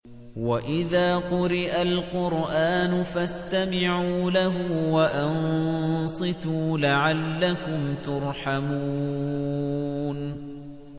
وَإِذَا قُرِئَ الْقُرْآنُ فَاسْتَمِعُوا لَهُ وَأَنصِتُوا لَعَلَّكُمْ تُرْحَمُونَ